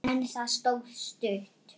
En það stóð stutt.